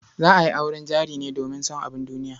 Za a yi auren jari ne domin son abun duniya.